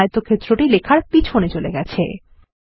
এখন আয়তক্ষেত্রটি লেখার পিছনে চলে গেছে